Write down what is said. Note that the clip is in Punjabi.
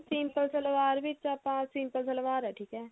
simple ਸਲਵਾਰ ਵਿੱਚ ਹੀ ਆਪਾਂ simple ਸਲਵਾਰ ਏ ਠੀਕ ਹੈ